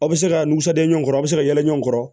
Aw bɛ se ka nsonja ɲɔgɔn kɔrɔ a bɛ se ka yɛlɛ ɲɔgɔn kɔrɔ